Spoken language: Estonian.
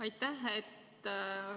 Aitäh!